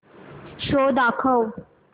show दाखव